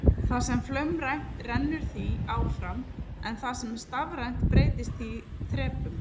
Það sem er flaumrænt rennur því áfram en það sem er stafrænt breytist í þrepum.